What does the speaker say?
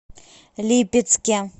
липецке